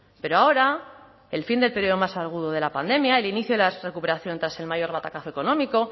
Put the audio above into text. pero ahora el fin del periodo más agudo de la pandemia el inicio de la recuperación tras el mayor batacazo económico